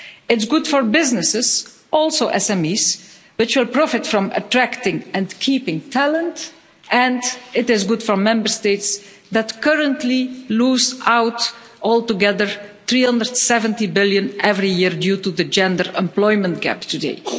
It's good for businesses, also SMEs, which will profit from attracting and keeping talent, and it is good for Member States that currently lose out altogether EUR 370 billion every year due to the gender employment gap today.